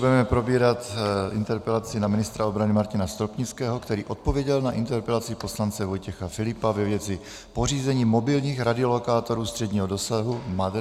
Budeme probírat interpelaci na ministra obrany Martina Stropnického, který odpověděl na interpelaci poslance Vojtěcha Filipa ve věci pořízení mobilních radiolokátorů středního dosahu MADR.